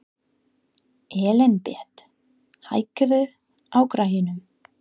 Elínbet, hækkaðu í græjunum.